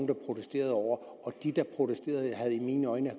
protesterede over og de der protesterede havde i mine øjne